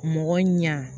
Mɔgɔ ɲa